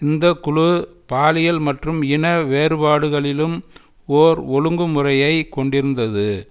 இந்த குழு பாலியல் மற்றும் இன வேறுபாடுகளிலும் ஓர் ஒழுங்குமுறையை கொண்டிருந்தது